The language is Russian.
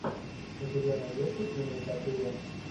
у тебя найдется киноэпопея